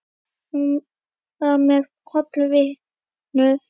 Hann var mér hollur vinur.